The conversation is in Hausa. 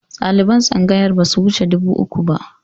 Ɗaliban tsangayar ba su wuce dubu uku ba